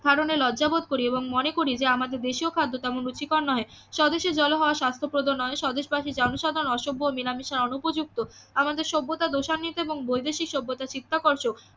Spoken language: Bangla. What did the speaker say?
হারানে লজ্জা বোধ করি এবং মনে করি যে আমাদের দেশীয় খাদ্য তেমন রুচিকর নহে স্বদেশীর জল হাওয়া স্বাস্থ্যপ্রদ নয় স্বদেশবাসী জনসাধারন অসভ্য মেলামেশা অনুপযুক্ত আমাদের সভ্যতা দোষান্বিত এবং বৈদেশিক সভ্যতা চিত্তাকর্ষক